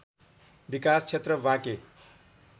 विकास क्षेत्र बाँके